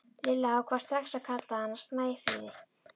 Lilla ákvað strax að kalla hana Snæfríði.